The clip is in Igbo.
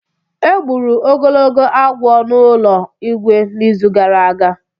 E gburu ogologo agwọ n’ụlọ Igwe n’izu gara aga.